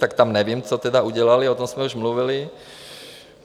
Tak tam nevím, co tedy udělali, o tom jsme už mluvili.